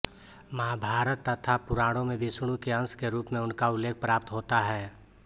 महाभारत तथा पुराणों में विष्णु के अंश के रूप में उनका उल्लेख प्राप्त होता है